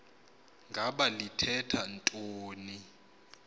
ngaba lithetha ntoni